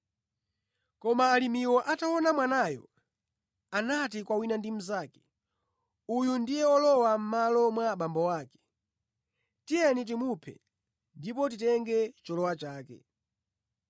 “Koma alimiwo ataona mwanayo anati kwa wina ndi mnzake, ‘Uyu ndiye olowa mʼmalo mwa abambo ake. Tiyeni timuphe ndipo titenge cholowa chake.’